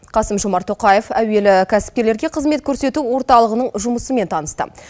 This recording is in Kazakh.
қасым жомарт тоқаев әуелі кәсіпкерлерге қызмет көрсету орталығының жұмысымен танысты